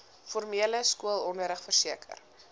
formele skoolonderrig verseker